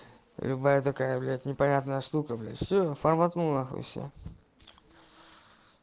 любая блядь такая непонятная штука сука блядь все форматнул на хуй и все